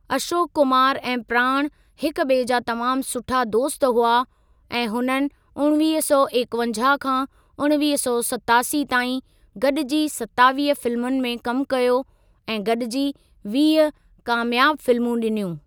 अशोक कुमारु ऐं प्राण हिक ॿिए जा तमामु सुठा दोस्त हुआ ऐं हुननि उणिवीह सौ एकवंजाहु खां उणिवीह सौ सतासी ताईं गॾिजी सतावीह फिल्मुनि में कमु कयो ऐं गॾिजी वीह कामियाब फिल्मूं ॾिनियूं।